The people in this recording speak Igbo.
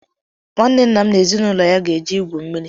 Nwanne nna m na ezinụlọ ya ga-eje igwu mmiri.